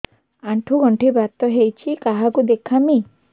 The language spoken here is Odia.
ଆଣ୍ଠୁ ଗଣ୍ଠି ବାତ ହେଇଚି କାହାକୁ ଦେଖାମି